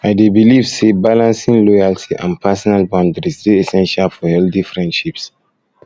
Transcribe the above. i dey believe say believe say balancing loyalty and personal boundaries dey essential for healthy friendships